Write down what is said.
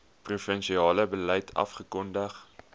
provinsiale beleid afgekondig